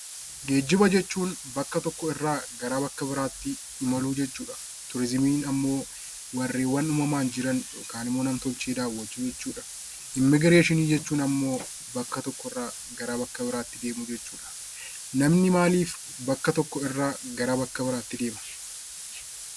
Geejjiba jechuun bakka tokko irraa gara bakka biraa tti imaluu jechuu dha. Turiizimiin ammoo warreen uumamaan jiran yookaan ammoo nam-tolchee daawwachuu jechuu dha. Immigireeshinii jechuun ammoo bakka tokko irraa gara bakka biraatti deemuu jechuu dha. Namni maaliif bakka tokko irraa gara bakka biraa tti deema?